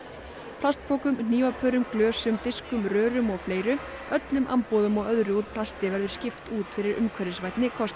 plastpokum hnífapörum glösum diskum rörum og fleiru öllum amboðum og öðru úr plasti verður skipt út fyrir umhverfisvænni kosti